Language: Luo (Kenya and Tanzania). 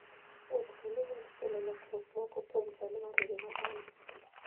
Wuoth bende nyalo kelo lokruok moko kuom chal mar ngima dhano.